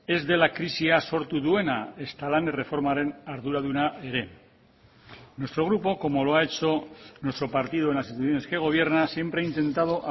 ez dela krisia sortu duena ezta lan erreformaren arduraduna ere nuestro grupo como lo ha hecho nuestro partido en las instituciones que gobierna siempre ha intentado